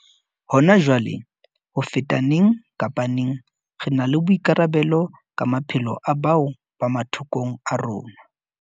Hona jwale, ho feta neng kapa neng, re na le boikarabelo ka maphelo a bao ba mathokong a rona.